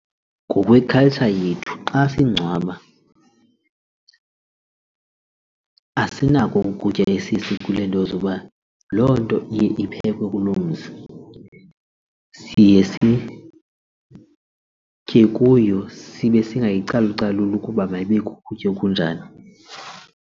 Ngokwe-culture yethu xa sengcwaba asinako ukutya nto zoba loo nto iye iphekwe kuloo mzi sitye kuyo sibe singayicalucaluli ukuba mayibe kukutya okunjani.